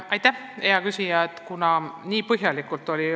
Aitäh, hea küsija!